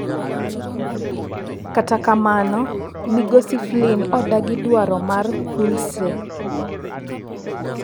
Kata kamano migosi Flynn odagi dwaro mar Whoolsey.